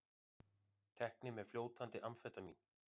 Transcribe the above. Teknir með fljótandi amfetamín